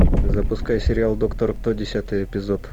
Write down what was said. запускай сериал доктор кто десятый эпизод